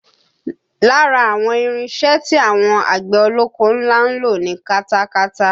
Lára àwọn irinṣẹ́ tí àwọn àgbẹ̀ ọlọ́kọ́ ńlá ń lò ni katakata